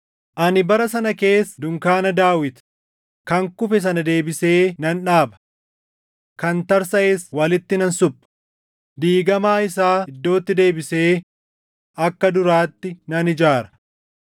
“Ani bara sana keessa dunkaana Daawit “Kan kufe sana deebisee nan dhaaba. Kan tarsaʼes walitti nan supha; diigamaa isaa iddootti deebisee akka duraatti nan ijaara;